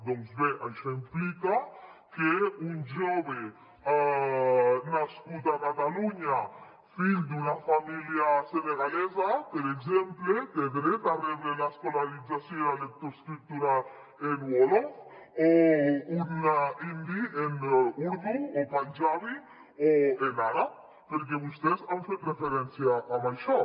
doncs bé això implica que un jove nascut a catalunya fill d’una família senegalesa per exemple té dret a rebre l’escolarització i la lectoescriptura en wòlof o un indi en urdú o panjabi o en àrab perquè vostès han fet referència a això